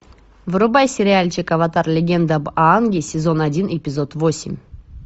врубай сериальчик аватар легенда об аанге сезон один эпизод восемь